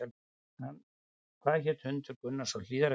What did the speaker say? Hvað hét hundur Gunnars á Hlíðarenda?